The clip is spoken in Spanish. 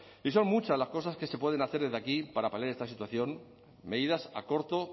y son muchas las cosas que se pueden hacer desde aquí para paliar esta situación medidas a corto